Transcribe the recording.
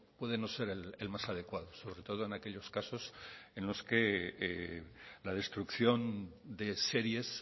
puede no ser el más adecuado sobre todo en aquellos casos en los que la destrucción de series